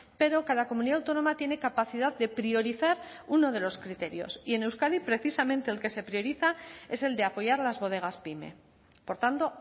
pero cada comunidad autónoma tiene capacidad de priorizar uno de los criterios y en euskadi precisamente el que se prioriza es el de apoyar las bodegas pyme por tanto